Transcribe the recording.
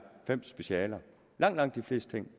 fem specialer langt langt de fleste ting